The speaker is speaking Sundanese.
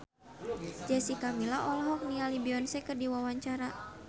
Jessica Milla olohok ningali Beyonce keur diwawancara